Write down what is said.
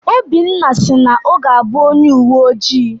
Obinna si na ọ ga-abụ onye uwe ojii.